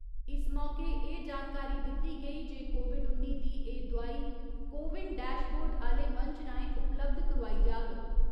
इस मौके एह् जानकारी दित्ती गेई जे कोविड उन्नी दी एह् दुआई 'कोविन डैशबोर्ड' आह्‌ले मंच राहें उपलब्ध करोआई जाग।